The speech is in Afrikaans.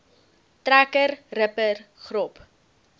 trekker ripper grop